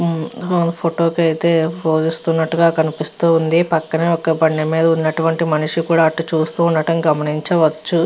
మామూలుగా ఫోటో కైతే ఫోజిస్తున్నట్టుగా కనిపిస్తుంది పక్కనే ఒక బండి మీద ఉన్నటువంటి ఒక మనిషి కూడా అటువైపు వస్తూ ఉండటం గమనించ వచ్చు.